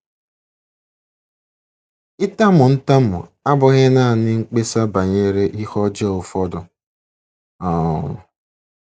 Ịtamu ntamu abụghị nanị mkpesa banyere ihe ọjọọ ụfọdụ um.